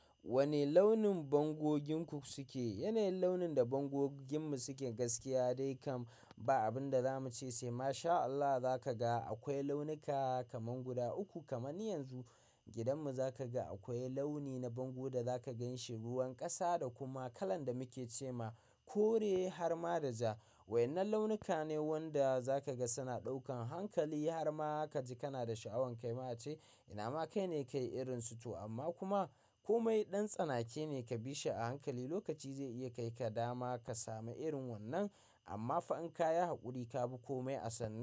Wane launin bango gininku suke? Yanayin launin da bango gininmu suke gaskiya dai kam ba abin da za mu ce sai Masha Allah za ka ga akwai launuka kaman guda uku kaman yanzu gidan mu za ka ga akwai launi na bango da za ka gan shi ruwan ƙasa da kuma kalan da muke ce ma kore har ma da ja. Waƴannan launuka ne wanda za ka ga suna ɗaukan hankali har ma ka ji kana da sha'awan kai ma ce ina ma kai ne ka yi irin su to amma kuma komai ɗan tsanake ne ka bi shi a hankali lokaci zai iya kai ka dama ka samu irin wannan amma fa'in ka yi haƙuri ka bi komai a sannu.